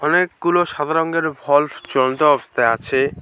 অনেকগুলো সাদা রঙের ভলভ জ্বলন্ত অবস্থায় আছে।